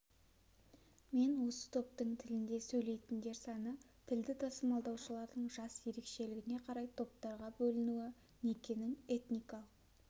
мен осы топтың тілінде сөйлейтіндер саны тілді тасымалдаушылардың жас ерекшелігіне қарай топтарға бөлінуі некенің этникалық